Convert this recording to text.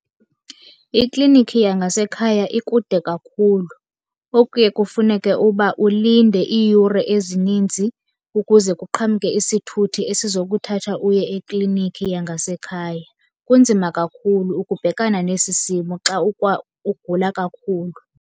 Ikliniki yangasekhaya ikude kakhulu. Okuye kufuneke uba ulinde iiyure ezininzi ukuze kuqhamke isithuthi esizokuthatha uye ekliniki yangasekhaya. Kunzima kakhulu ukubhekana nesi simo xa uguqula kakhulu.